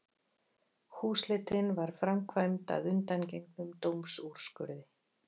Húsleitin var framkvæmd að undangengnum dómsúrskurði